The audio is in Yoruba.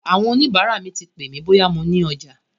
Àwọn oníbàárà mi ti pè mí bóyá mo ní ọjà.